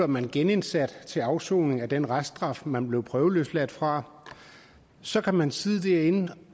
man genindsat til afsoning af den reststraf man blev prøveløsladt fra så kan man sidde derinde